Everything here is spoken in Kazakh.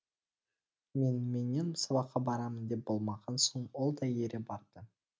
меніменен сабаққа барамын деп болмаған соң ол да ере барды